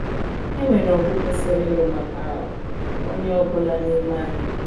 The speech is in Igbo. E nwere ọgụ kwesịrị ịlụ maka onye ọ bụla n’ime anyị.